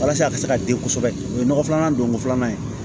Walasa a ka se ka den kosɛbɛ o ye nɔgɔ filanan donko filanan ye